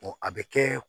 a bɛ kɛ